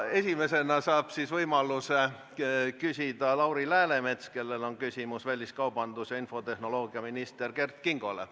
Esimesena saab võimaluse küsida Lauri Läänemets, kellel on küsimus väliskaubandus- ja infotehnoloogiaminister Kert Kingole.